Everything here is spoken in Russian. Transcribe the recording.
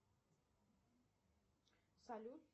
салют